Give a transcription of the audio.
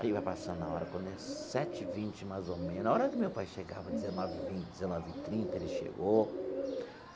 Aí vai passando a hora, quando é sete e vinte mais ou menos, a hora que meu pai chegava, dezenove e vinte, dezenove e trinta, ele chegou.